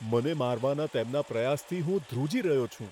મને મારવાના તેમના પ્રયાસથી હું ધ્રુજી રહ્યો છું.